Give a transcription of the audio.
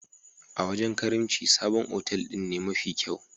A wajen karimci, sabon otal din ne mafi kyau.